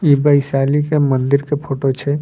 इ वैशाली के मंदिर के फोटो छै।